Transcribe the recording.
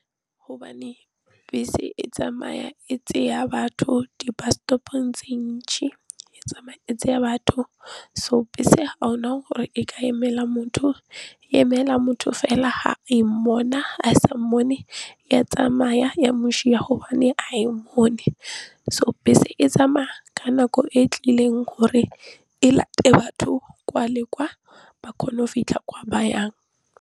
Hobane bese e tsamaya e tseya batho di-bus stop-ong tse e tsamaya e tsaya batho so bese ga gona gore e ka emela motho e emela motho fela ha e mmona, ha e sa mmone ya tsamaya ya mosia gobane ga e mmone so bese e tsamaya ka nako e tlileng gore e late batho kwa le kwa ba kgone go fitlha kwa ba yang.